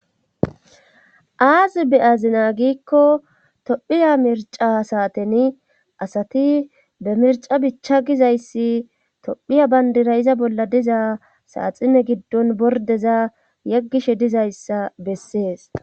aaz be azina giikko tophiya mirca saaten asati bemirca bicha gizayssi tophiya bayndira iza bolla diza saaxine giddon bordeza yeggishe dizayssa bessees